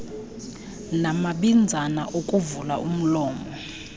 namabinzana okuvula umlomo